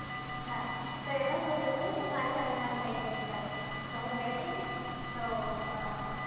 હા, તો એમાં શું થયું ખબર છે? મારી સાથે fun થઈ ગયુ એની સાથે. તો હુ ગઈ તી ને, તો અમ